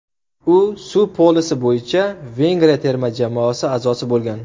U suv polosi bo‘yicha Vengriya terma jamoasi a’zosi bo‘lgan.